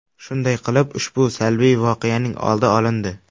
Shunday qilib, ushbu salbiy voqeaning oldi olindi.